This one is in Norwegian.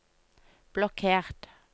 blokkert